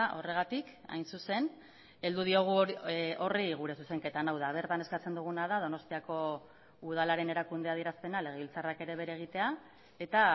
horregatik hain zuzen heldu diogu horri gure zuzenketan hau da bertan eskatzen duguna da donostiako udalaren erakunde adierazpena legebiltzarrak ere bere egitea eta